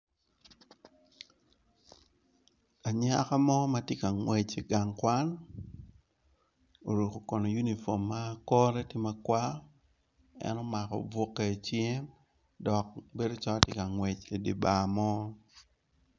Anyaka mo matye ka ngwec i gang kwan oruko kun unifom ma kore tye makwar en omako buke i cinge dok bedo calo tye ka ngwec idi bar mo.